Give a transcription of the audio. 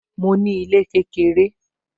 Mo ní ilé kékeré